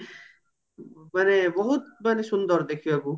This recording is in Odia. ମାନେ ବୋହୁତ ମାନେ ସୁନ୍ଦର ଦେଖିବାକୁ